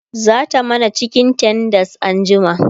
zata mana cikin tenders anjima